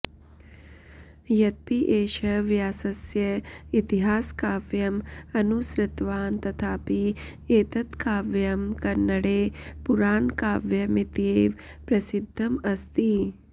यद्यपि एषः व्यासस्य इतिहासकाव्यम् अनुसृतवान् तथापि एतत् काव्यं कन्नडे पुराणकाव्यमित्येव प्रसिद्धम् अस्ति